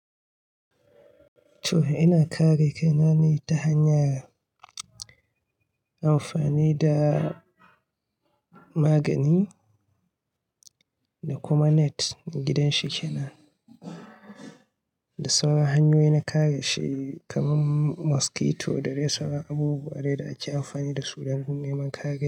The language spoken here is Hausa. To, ina kare kai na ne ta hanyar amfani da magani da kuma net gidan shi kenan. Da sauran hanyoyi na kare shi kamar mosquito da dai sauran abubuwa dai da ake amfani da su don neman kare.